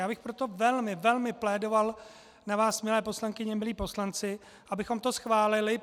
Já bych proto velmi, velmi plédoval na vás, milé poslankyně, milí poslanci, abychom to schválili.